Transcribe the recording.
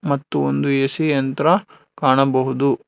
ಮತ್ತು ಒಂದು ಎ_ಸಿ ಯಂತ್ರ ಕಾಣಬಹುದು.